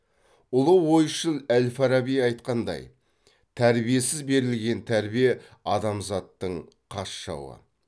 ұлы ойшыл әл фараби айтқандай тәрбиесіз берілген тәрбие адамзаттың қас жауы